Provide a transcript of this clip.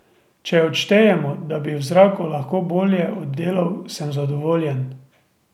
Če odštejemo, da bi v zraku lahko bolje oddelal, sem zadovoljen.